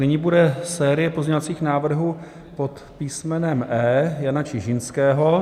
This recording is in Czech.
Nyní bude série pozměňovacích návrhů pod písmenem E Jana Čižinského.